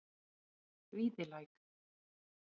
Víðilæk